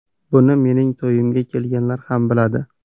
Buni mening to‘yimga kelganlar ham biladi.